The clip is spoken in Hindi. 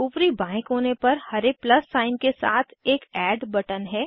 ऊपरी बाएं कोने पर हरे प्लस साइन के साथ एक एड बटन है